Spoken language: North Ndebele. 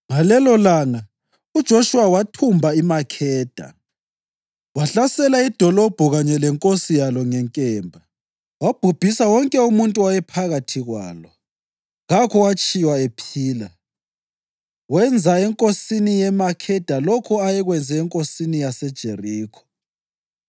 Ngalelolanga uJoshuwa wathumba iMakheda. Wahlasela idolobho kanye lenkosi yalo ngenkemba, wabhubhisa wonke umuntu owayephakathi kwalo. Kakho owatshiywa ephila. Wenza enkosini yeMakheda lokho ayekwenze enkosini yaseJerikho.